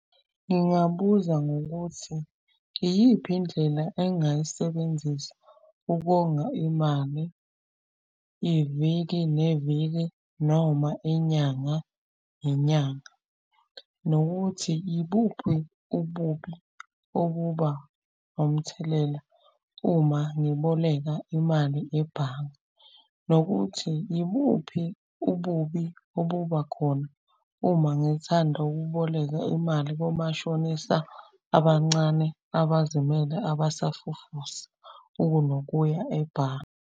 Ngingabuza ngokuthi, iyiphi indlela engayisebenzisa ukonga imali, iviki neviki noma inyanga nenyanga? Nokuthi ibuphi ububi okuba omthelela uma ngiboleka imali ebhange? Nokuthi, ibuphi ububi obuba khona uma ngithanda ukuboleka imali komashonisa abancane abazimele abasafufusa, ukunokuya ebhange?